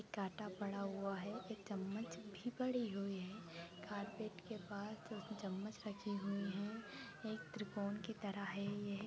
कांटा पड़ा हुआ है एक चम्मच भी पड़ी हुई है कारपेट के पास चम्मच रखी हुइ हैं एक त्रिकोण की तरह है ये।